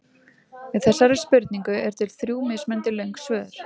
Við þessari spurningu eru til þrjú mismunandi löng svör.